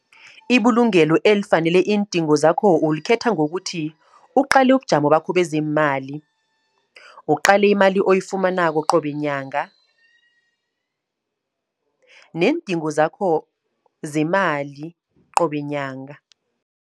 Ibulungelo elifanele iindingo zakho, ulikhetha ngokuthi, uqale ubujamo bakho bezeemali. Uqale imali oyifumanako qobe nyanga, neendingo zakho zemali qobe nyanga.